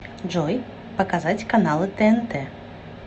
джой показать каналы тнт